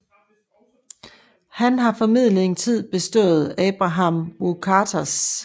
Han har formentlig en tid bistået Abraham Wuchters